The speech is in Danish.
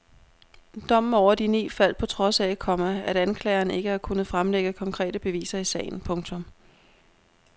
Dommen over de ni faldt på trods af, komma at anklageren ikke har kunnet fremlægge konkrete beviser i sagen. punktum